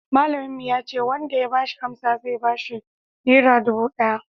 malamin mu ya ce wanda ya bashi amsa zai bashi nera dubu daya